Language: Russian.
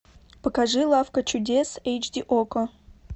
покажи лавка чудес эйч ди окко